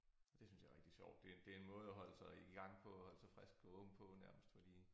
Det synes jeg er rigtig sjovt det det en måde at holde sig i i gang på holde sig frisk på ung på nærmest fordi